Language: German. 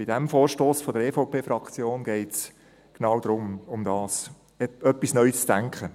Bei diesem Vorstoss der EVP-Fraktion geht es genau darum: etwas neu zu denken.